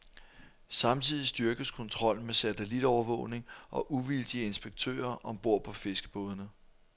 Samtidig styrkes kontrollen med satellitovervågning og uvildige inspektører om bord på fiskerbådene.